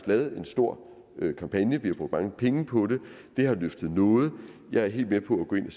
lavet en stor kampagne vi har brugt mange penge på det det har løftet noget men jeg er helt med på at gå ind